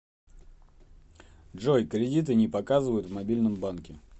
джой кредиты не показывают в мобильном банке